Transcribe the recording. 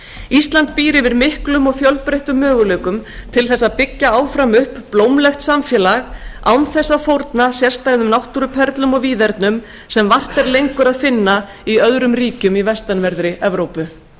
ísland býr yfir miklum og fjölbreyttum möguleikum til þess að byggja áfram upp blómlegt samfélag án þess að fórna sérstæðum náttúruperlum og víðernum sem vart er lengur að finna í öðrum ríkjum í vestanverðri evrópu